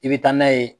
I bɛ taa n'a ye